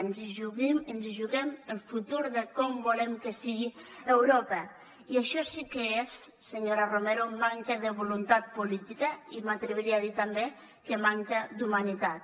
ens hi juguem el futur de com volem que sigui europa i això sí que és senyora romero manca de voluntat política i m’atreviria a dir també que manca d’humanitat